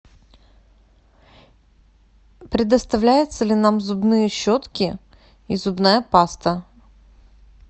предоставляются ли нам зубные щетки и зубная паста